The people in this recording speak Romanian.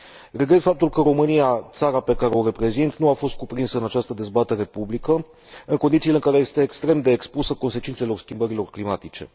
Regret faptul că România, țara pe care o reprezint, nu a fost cuprinsă în această dezbatere publică, în condițiile în care este extrem de expusă consecințelor schimbărilor climatice.